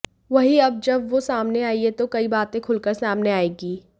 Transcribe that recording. वहीं अब जब वो सामने आई है तो कई बातें खुलकर सामने आएंगी